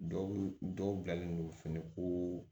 Dɔw dɔw bilalen don finiko